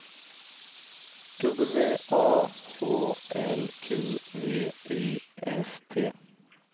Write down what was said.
W A H L Q V I S T